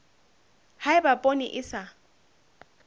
ha eba poone e sa